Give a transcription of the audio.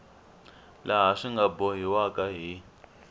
laha swi nga bohiwaka hi